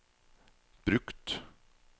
brukt